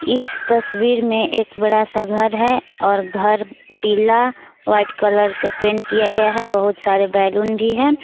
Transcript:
इस तस्वीर में एक बड़ा सा घर है और घर पीला व्हाइट कलर से पेंट किया गया है बहुत सारे बैलून भी है।